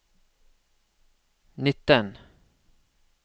nitten